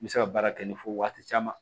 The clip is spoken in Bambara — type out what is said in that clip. N bɛ se ka baara kɛ ni fo waati caman